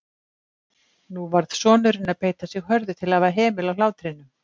Nú varð sonurinn að beita sig hörðu til að hafa hemil á hlátrinum.